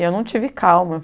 E eu não tive calma.